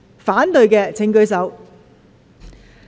反對的請舉手。